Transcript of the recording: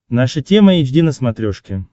наша тема эйч ди на смотрешке